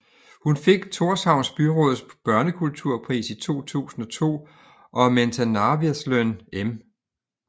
Hun fik Tórshavns byråds børnekulturpris i 2002 og Mentanarvirðisløn M